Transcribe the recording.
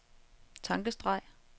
tankestreg